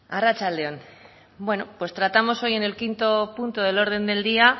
arratsalde on bueno pues tratamos hoy en el quinto punto del orden del día